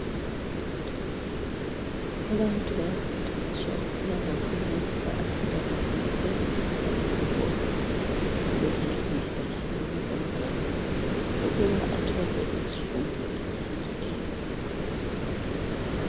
Abantu bayakhuthazwa ukuba babone ukuba abantwana bonke bayahamba esikolo .Kulilungelo lakhe wonke umntwana ukuba athole izifundo ezandileyo.